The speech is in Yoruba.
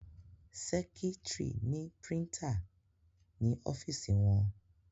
Sẹ́kítrì ni prítà ní ọ́fìsì wọn.